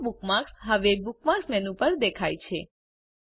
Yahoo bookmark હવે bookmark menu પર દેખાય છે